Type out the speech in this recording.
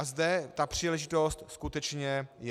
A zde ta příležitost skutečně je.